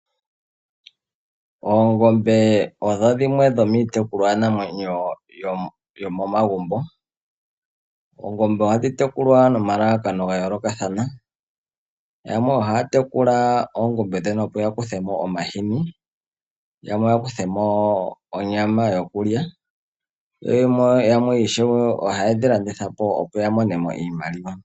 Oongombe odho dhimwe dhomiitekulwa namwenyo yomomagumbo. Ohadhi tekulwa nomalalakano ga yoolokathana, yamwe ohaya tekula oongombe ndhono opo ya kuthe mo omahini, yamwe ya kuthe mo onyama yo kulya yo yamwe ohaye dhi landitha po, opo ya mone mo iimaliwa.